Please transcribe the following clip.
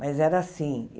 Mas era assim.